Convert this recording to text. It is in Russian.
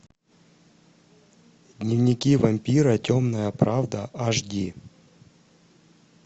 дневники вампира темная правда аш ди